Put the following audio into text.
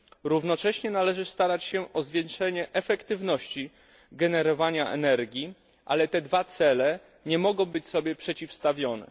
Równocześnie należy starać się o zwiększenie efektywności generowania energii, ale te dwa cele nie mogą być sobie przeciwstawione.